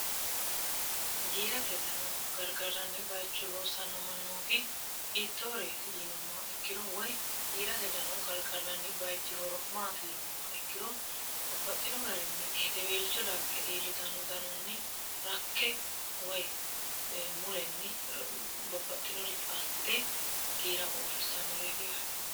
giirate dano gargaranni bayicho loossanno mannooti hiittooreeti yiinummaa ikkiro woy giirate dano gargardanni bayichi horo maati yiinummaa ikkiro babbaxxino garinni hedeweelco dagge iillitanno danonni rakke woy mulenni babbaxxinoricho assite giira uurrissannoreeti yaate